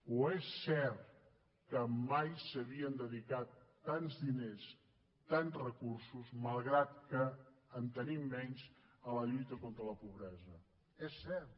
o és cert que mai s’havien dedicat tants diners tants recursos malgrat que en tenim menys a la lluita contra la pobresa és cert